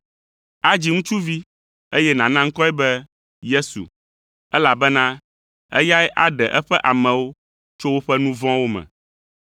Adzi ŋutsuvi, eye nàna ŋkɔe be Yesu, elabena eyae aɖe eƒe amewo tso woƒe nu vɔ̃wo me.”